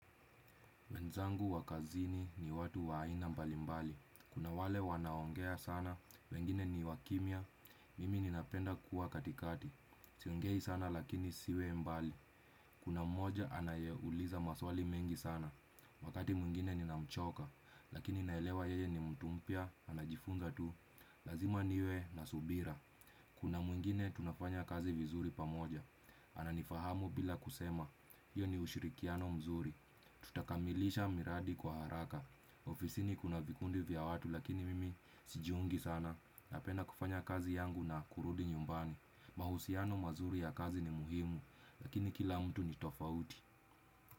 Wenzangu wakazini ni watu wa aina mbalimbali. Kuna wale wanaongea sana, wengine ni wakimya, mimi ninapenda kuwa katikati. Siongei sana lakini siwe mbali. Kuna mmoja anayeuliza maswali mengi sana. Wakati mwingine ninamchoka, lakini naelewa yeye ni mtumpya, anajifunza tu. Lazima niwe nasubira. Kuna mwingine tunafanya kazi vizuri pamoja, ananifahamu bila kusema, hiyo ni ushirikiano mzuri, tutakamilisha miradi kwa haraka ofisini kuna vikundi vya watu lakini mimi sijiungi sana, napenda kufanya kazi yangu na kurudi nyumbani mahusiano mazuri ya kazi ni muhimu, lakini kila mtu ni tofauti.